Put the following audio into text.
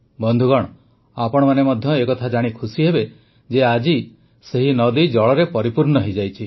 ବନ୍ଧୁଗଣ ଆପଣମାନେ ମଧ୍ୟ ଏକଥା ଜାଣି ଖୁସିହେବେ ଯେ ଆଜି ସେହି ନଦୀ ଜଳରେ ପରିପୂର୍ଣ୍ଣ ହୋଇଯାଇଛି